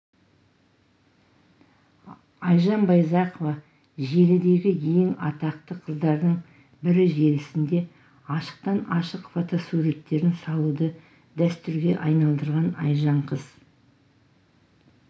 айжан байзақова желідегі ең атақты қыздардың бірі желісінде ашықтан ашық фотосуреттерін салуды дәстүрге айналдырған айжан қыз